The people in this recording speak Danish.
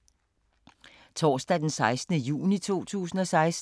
Torsdag d. 16. juni 2016